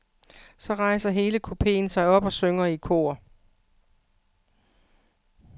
Så rejser hele kupeen sig op og synger i kor.